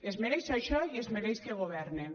es mereix això i es mereix que governen